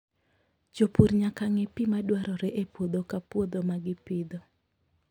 Jopur nyaka ng'e pi ma dwarore e puodho ka puodho ma gipidho.